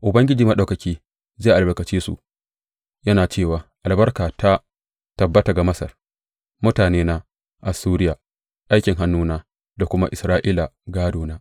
Ubangiji Maɗaukaki zai albarkace su, yana cewa, Albarka ta tabbata ga Masar, mutanena, Assuriya aikin hannuna, da kuma Isra’ila gādona.